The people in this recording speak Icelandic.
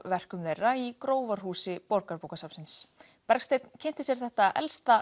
verkum þeirra í Grófarhúsi Borgarbókasafnsins Bergsteinn kynnti sér þetta elsta